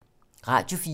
Radio 4